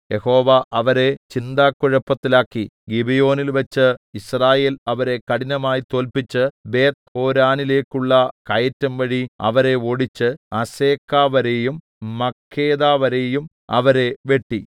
യഹോവ അവരെ ചിന്താക്കുഴപ്പത്തിലാക്കി ഗിബെയോനിൽവെച്ച് യിസ്രായേൽ അവരെ കഠിനമായി തോല്പിച്ച് ബേത്ത്ഹോരോനിലേക്കുള്ള കയറ്റംവഴി അവരെ ഓടിച്ച് അസേക്കവരെയും മക്കേദവരെയും അവരെ വെട്ടി